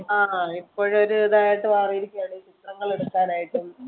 ആഹ് ഇപ്പോഴ് ഒരു ഇതായിട്ട് മാറിയിരിക്കുകയാണ് ചിത്രങ്ങൾ എടുക്കാൻ ആയിട്ടും